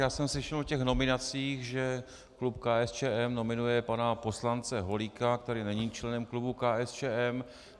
Já jsem slyšel o těch nominacích, že klub KSČM nominuje pana poslance Holíka, který není členem klubu KSČM.